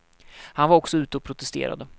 Han var också ute och protesterade.